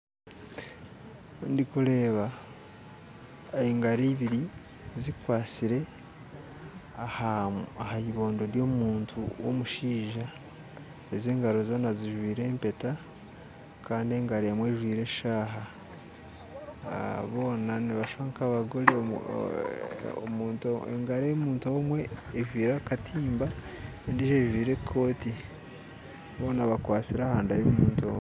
Ndikureeba engaro ebiri zikwasire aha ebondo ryomuntu rw'omushaija ezi engaro zoona zijwire empeta kandi engaro emwe ejwire eshaaha boona nibashusha nkabagore, engaro yomuntu omwe ejwire akatimba endiijo ajwire ekooti boona bakwatsire ahanda y'omuntu omwe.